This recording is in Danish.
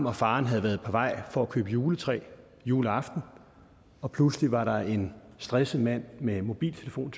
og faren havde været på vej for at købe juletræ juleaften og pludselig var der en stresset mand med mobiltelefon